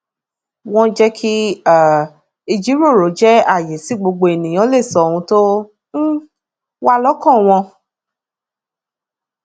wọn jé kí um ìjíròrò jẹ àyè tí gbogbo ènìyàn lè sọ ohun tó um wà lọkàn wọn